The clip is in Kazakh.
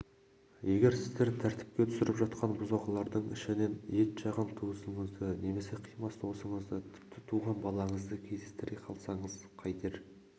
егер сіздер тәртіпке түсіріп жатқан бұзақылардың ішінен етжақын туысыңызды немесе қимас досыңызды тіпті туған балаңызды кездестіре қалсаңыз қайтер